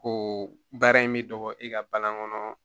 Ko baara in bɛ dɔgɔ i ka balan kɔnɔ